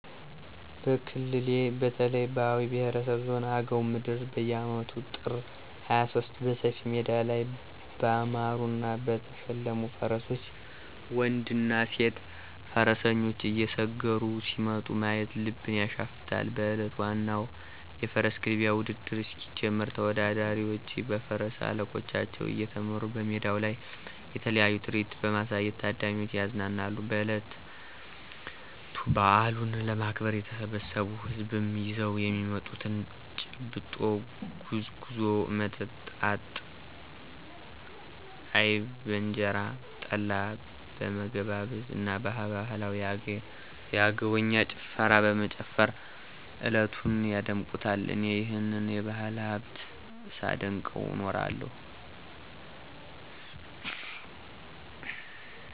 በክልሌ በተለይ በአዊ ብሄረሰብ ዞን አገው ምድር በየአመቱ ጥር 23 በሰፊ ሜዳ ላይ ባማሩና በተሸለሙ ፈረሶች ወንድና ሴት ፈረሰኞች እየሰገሩ ሲመጡ ማየት ልብን ያሸፍታል። በእለቱ ዋናው የፈረስ ግልቢያ ውድድር እስኪጀምር ተወዳዳሪዎቹ በፈረስ አለቆቻቸው እየተመሩ በሜዳው ላይ የተለያየ ትርኢት በማሳየት ታዳሚውን ያዝናናሉ። በእለቱ በአሉን ለማክበር የተሰበሰው ህዝብም ይዘው የሚመጡትን :- ጭብጦ፣ ጉዝጉዞ፣ መጣጣ አይብ በእንጀራ፣ ጠላ በመገባበዝ እና ባህላዊ የአገውኛ ጭፈራ በመጨፈር እለቱን ያደምቁታል። እኔም ይህንን የባህል ሀብት ሳደንቀው እኖራለሁ።